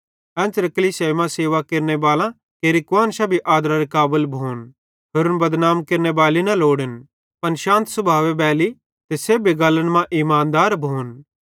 एन्च़रे कलीसियाई मां सेवा केरनेबालां केरि कुआन्शां भी आदरारे काबल भोन होरन बदनाम केरनेबैली न लोड़न पन शांत सुभावे बैली ते सेब्भी गल्लन मां इमानदार भोन